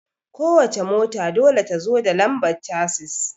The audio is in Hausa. Ko wace mota dole ta zo da lambar casis